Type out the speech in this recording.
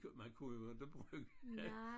Man kunne jo inte bruge det